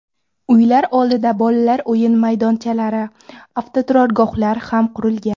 Uylar oldida bolalar o‘yin maydonchalari, avtoturargoh ham qurilgan.